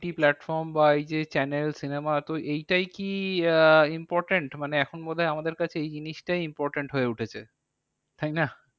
OTT platform বা এই যে channel cinema তো এইটাই কি আহ important মানে এখন বোধহয় আমাদের কাছে এই জিনিসটাই important হয়ে উঠেছে। তাই না?